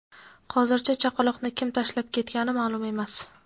hozircha chaqaloqni kim tashlab ketgani ma’lum emas.